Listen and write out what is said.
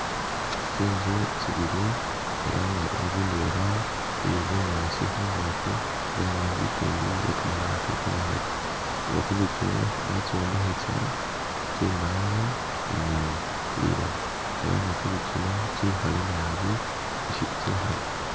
Tsintsu tsibili elah nga intsu indwela iye bunyasi khungaki elah nge'ntsu ikindi iye kamabaati kamakhale nga tsintsu tsino batsombekhesa tsimbawo ni liloba elah nga tsintsu tsino tsikhale nabi tsikhale